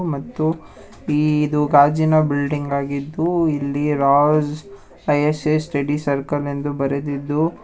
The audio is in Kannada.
ಮತ್ತು ಇದು ಗಾಜಿನ ಬಿಲ್ಡಿಂಗ್ ಆಗಿದ್ದು ಇಲ್ಲಿ ರಾಜ್ ಐ_ಎ_ಎಸ್ ಸ್ಟಡೀಸ್ ಸರ್ಕಲ್ ಎಂದು ಬರೆದಿದ್ದು --